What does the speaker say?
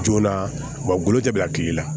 Joona golo tɛ bila kile la